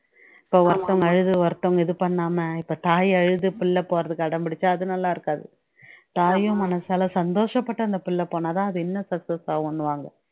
இப்போ ஒருத்தவங்க அழுது ஒருத்தவங்க இது பண்ணாம இப்போ தாய் அழுது பிள்ளை போறதுக்கு அடம்பிடிச்சா அது நல்லயிருக்காது தாயும் மனசால சந்தோஷப்பட்டு அந்த பிள்ளை போனா தான் அது இன்னும் success ஆகுன்னுவாங்க